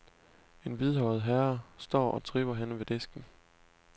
En hvidhåret herre står og tripper henne ved disken.